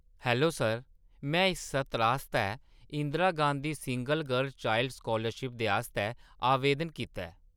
Hello sir, में इस सत्र आस्तै Indira Gandhi single girl child scholarship दे आस्तै आवेदन कीता ऐ।